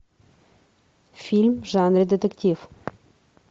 фильм в жанре детектив